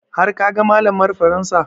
Har ka ga malamar faransa?